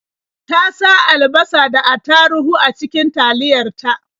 Ta sa alabasa da attaruhu a cikin taliyar ta.